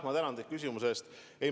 Ma tänan teid küsimuse eest!